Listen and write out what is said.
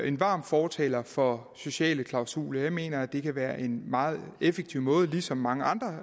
en varm fortaler for sociale klausuler jeg mener at det kan være en meget effektiv måde ligesom mange andre